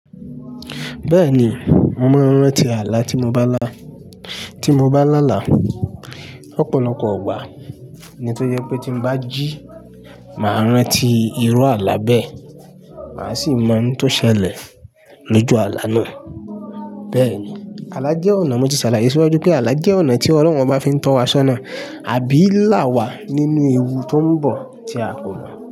Bẹ́ẹ̀ni, mo máa ń rántí àlá tí mo bá lá, tí mo bá lá là. Ọ̀pọ̀lọpọ̀ ọgbà ni tó jẹ pé tí bá jí, máa rántí irú àlá bẹ́ẹ̀, màá sì mọ n tó ṣẹlẹ̀ lójú àlá náà. Bẹ́ẹ̀ni, àlá jẹ́ ọ̀nà, mo ti ṣàlàyé síwájú pé àlá jẹ́ ọ̀nà tí ọlọ́run bá fi ń tọ́ wa ṣọ́nà àbí là wá nínú ewu tó ń bọ̀ tí a kò mọ̀.